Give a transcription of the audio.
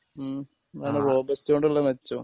ഉം അതാണ് റോബസ്റ്റ് കൊണ്ടുള്ള മെച്ചം